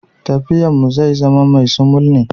Tafiyan mu zai zama mai sumul ne.